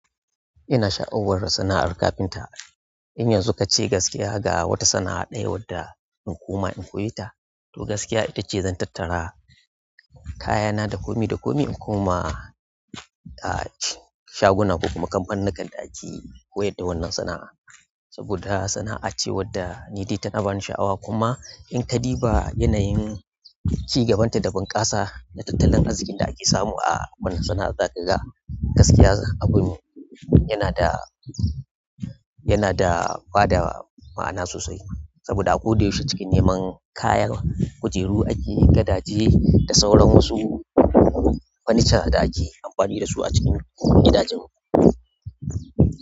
Ina sha'awar sana'ar kafinta. In yanzu ka ce gaskiya ga wata sana'a ɗaya wadda in koma in koye ta, to gaskiya ita ce zan tattara kayana da komi da komi in koma a shaguna ko kuma kamfanin kan da ake koyar da wannan sana'a. Saboda sana'a ce wadda ni dai tana bani sha, awa kuma in ka di ba yanayin cigabanta da bunƙasa da tattalin arzikin da ake samu a wannan sana'a daga gaskiya abun yana da, yana da bada ma'ana sosai. Saboda a ko da yaushe cikin neman kayan kujeru ake, gadaje da sauran wasu furniture da ake amfani da su a cikin gidajenmu.